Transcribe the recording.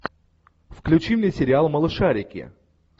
включи мне сериал малышарики